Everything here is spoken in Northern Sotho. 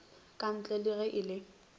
kantle le ge e le